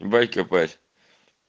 ибать копать